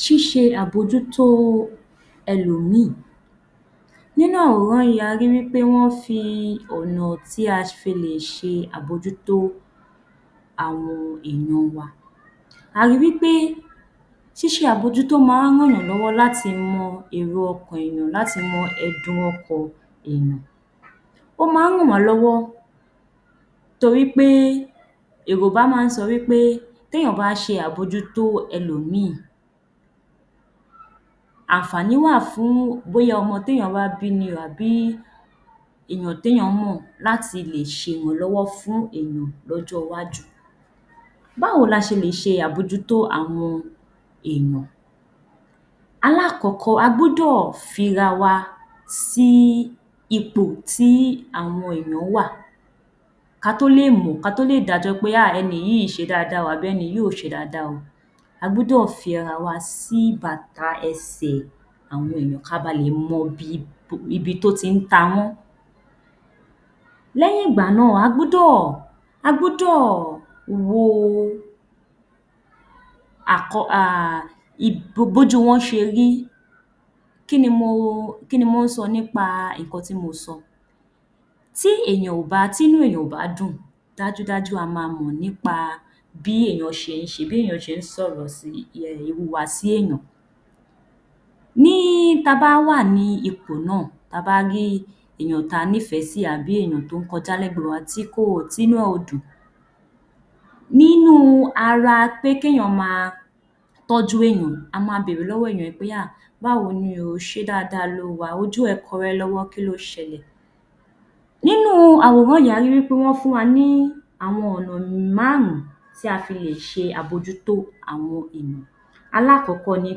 Ṣíṣe àbójútó ẹlòmíì. Nínú àwòrán yìí a rí wí pé wọ́n fi ọ̀nà tí a fi lè ṣe àbójútó àwọn èèyàn wa. A ri wí pé ṣíṣe àbójútó máa ń ran èèyàn lọ́wọ́ láti mọ èrò ọkàn èèyàn, láti mọ ẹ̀dùn ọkàn èèyàn. Ó máa ń ràn wá lọ́wọ́ torí pé Yorùbá máa ń sọ wí pé: téèyàn bá ṣàbójútó ẹlòmíì, àǹfààní wà fún bóyá ọmọ téèyàn bá bí ni o àbí èèyàn téèyàn mọ̀ láti lè ṣe ìrànlọ́wọ́ fún èèyàn lọ́jọ́ iwájú. Báwo la ṣe lè ṣe àbójútó àwọn èèyàn? Alákọ̀ọ́kọ́ a gbọ́dọ̀ fi ra wa sí ipò tí àwọn èèyàn wà, ka tó lè dájọ́ pé ah ẹni yìí ṣe dáadáa tàbí ẹni yìí ò ṣe dáadáa o, a gbọ́dọ̀ fi ara wa sí bàtà ẹsẹ̀ àwọn èèyàn ká ba lè mọ ibi tó tí ń ta wọ́n. Lẹ́yìn ìgbà náà, a gbọ́dọ̀ wo bójú wọn ṣe rí. Kí ni mo sọ nípa nǹkan tí mo sọ? Tí inú èèyàn ò bá dùn, dájúdájú a ma mọ̀ nípa bí èèyàn ṣe ń ṣe, bí èèyàn ṣe ń sọ̀rọ̀, Ìhùwàsí èèyàn. Ta bá wà ní ipò náà, ta bá rí èèyàn ta nífẹ̀ẹ́ sí àbí èèyàn tó ń kọjá lẹ́gbẹ̀ẹ́ wa tí inú ẹ̀ ò dùn. Nínú ara pé kéèyàn ma tọ́jú èèyàn, a ma bèrè lọ́wọ́ èèyàn pé ah báwo ni o? Ṣé dáadáa lo wà? Ojú ẹ kọ́rẹ́ lọ́wọ́, kí ló ṣẹlẹ̀? Nínú àwòrán yìí a rí wí pé wọ́n fún wa ní àwọn ọ̀nà márùn-ún tí a fi lè ṣe àbójútó àwọn èèyàn. Alákọ̀ọ́kọ́ ni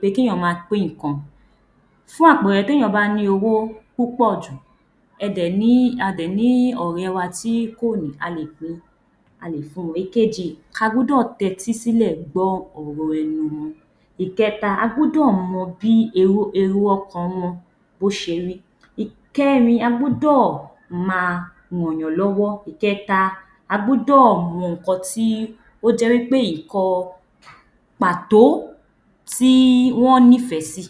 pé kí èèyàn ma pín nǹkan. Fún àpẹẹrẹ téèyàn bá ní owó púpọ̀ jù, a dẹ̀ ní ọ̀rẹ́ wa tí kò ní, a lè fun. Èkejì, ka gbọ́dọ̀ tẹ́tí sílẹ̀ gbọ́ ọ̀rọ̀ ẹnu wọn. Ìkẹta, a gbọ́dọ̀ mọ bí èrò ọkàn wọn bó ṣe rí. Ìkẹrin, a gbọ́dọ̀ ma ràn yàn lọ́wọ́. Ìkẹta, a gbọ́dọ̀ mọ nǹkan tí ó jẹ́ wí pé nǹkan pàtó tí wọ́n nífẹ̀ẹ́ sí.